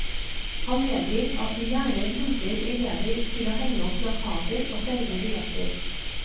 Han medgir at de gjerne bruker elever til å henge opp plakater og selge billetter.